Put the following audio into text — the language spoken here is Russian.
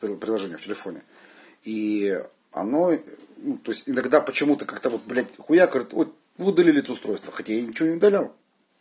при приложение в телефоне и оно ну то есть иногда почему-то как-то вот блядь хуяк говорит вот вы удалили это устройство хотя я ничего не удалял